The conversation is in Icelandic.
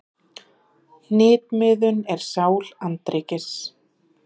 Hnitmiðun er sál andríkis.